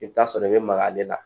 I bɛ t'a sɔrɔ i bɛ maga ale la